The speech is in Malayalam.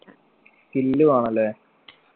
skill വേണം ല്ലേ